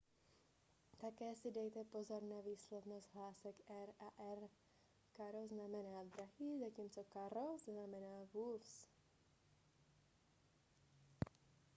také si dejte pozor na různou výslovnost hlásek r a rr caro znamená drahý zatímco carro znamená vůz